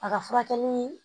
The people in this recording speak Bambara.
A ka furakɛli